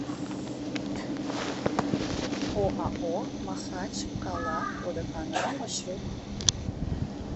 оао махачкалаводоканал маршрут